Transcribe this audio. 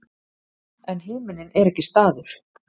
en himinninn er ekki staður